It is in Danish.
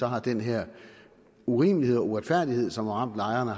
har den her urimelighed og uretfærdighed som har ramt lejerne